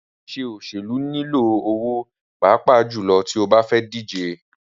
Ṣíṣe òṣèlú nilò owó pàápàá jùlọ tí o bá fẹ́ díje.